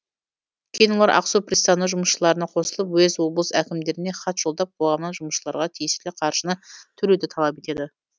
кейін олар ақсу пристаны жұмысшыларына қосылып уезд облыс әкімдеріне хат жолдап қоғамнан жұмысшыларға тиесілі қаржыны төлеуді талап етеді